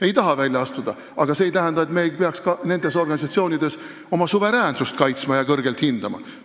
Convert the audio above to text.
Ei taha välja astuda, aga see ei tähenda, et me ei peaks ka nendes organisatsioonides oma suveräänsust kaitsma ja kõrgelt hindama.